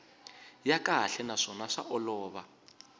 ya kahle naswona swa olova